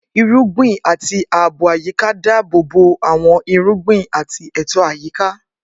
Irúgbìn àti ààbò àyíká dáàbò bo àwọn irúgbìn àti ètò àyíká.